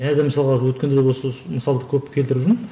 және де мысалға өткенде осы мысалды көп келтіріп жүрмін